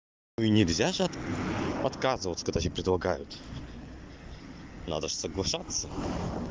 нельзя же отказывать когда тебе предлагают надо же соглашаться